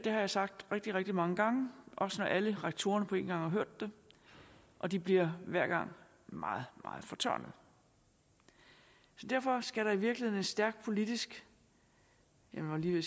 jeg sagt rigtig rigtig mange gange også når alle rektorerne på en gang har hørt det og de bliver hver gang meget meget fortørnede så derfor skal der i virkeligheden en stærk politisk jeg var lige ved